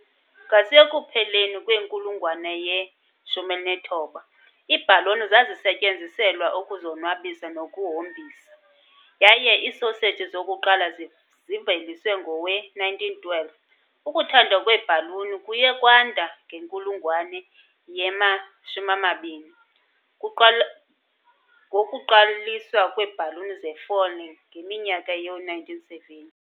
Ngasekupheleni kwenkulungwane ye-19, iibhaloni zazisetyenziselwa ukuzonwabisa nokuhombisa, yaye iisoseji zokuqala ziveliswe ngowe-1912. Ukuthandwa kweebhaluni kuye kwanda ngenkulungwane yama-20, ngokuqaliswa kweebhaluni zefoil ngeminyaka yoo-1970.